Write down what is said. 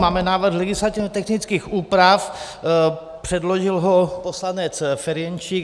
Máme návrh legislativně technických úprav, předložil ho poslanec Ferjenčík.